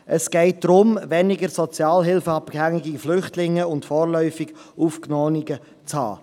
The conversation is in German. Es geht darum, weniger sozialhilfeabhängige Flüchtlinge und vorläufig Aufgenommene zu haben.